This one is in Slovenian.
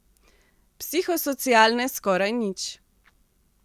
Psihosocialne skoraj nič.